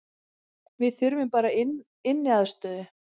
Við þurfum bara inniaðstöðu